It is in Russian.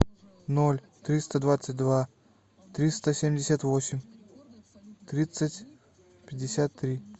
ноль триста двадцать два триста семьдесят восемь тридцать пятьдесят три